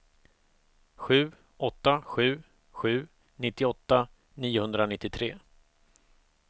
sju åtta sju sju nittioåtta niohundranittiotre